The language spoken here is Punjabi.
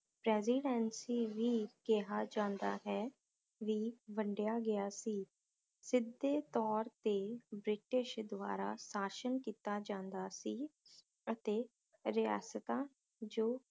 residency ਵੀ ਕਿਹਾ ਜਾਂਦਾ ਹੈ ਵੀ ਵੰਡਿਆ ਗਿਆ ਸੀ ਸਿਧੇ ਤੌਰ ਤੇ ਬ੍ਰਿਟਿਸ਼ ਦਵਾਰਾ ਸ਼ਾਸ਼ਨ ਕੀਤਾ ਜਾਂਦਾ ਸੀ ਅਤੇ ਰਿਆਸਤਾਂ ਜੋ